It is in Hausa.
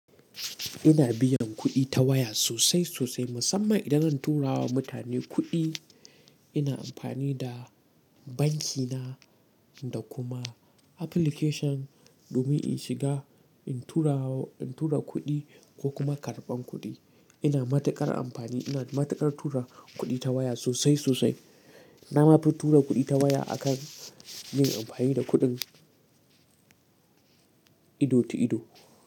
Ina biyan kuɗi ta waya sosai sosai, musamman idan zan tura wa mutane kuɗi. Ina amfani da banki na da kuma application domin in shiga, in tura, in tura kuɗi ko kuma karɓan kuɗi. Ina matuƙar amfani, ina matuƙar tura kuɗi ta waya sosai sosai. Na ma fi tura kuɗi ta waya akan yin amfani da kuɗin ido ta ido.